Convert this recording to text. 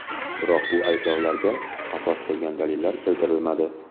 Biroq bu ayblovlarga asos bo‘lgan dalillar keltirilmadi.